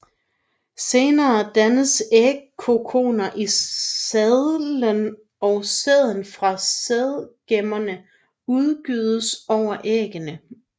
Senere dannes ægkokoner i sadelen og sæden fra sædgemmerne udgydes over æggene